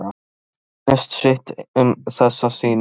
Mönnum sýndist sitthvað um þessa sýningu.